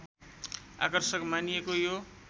आकर्षक मानिएको यो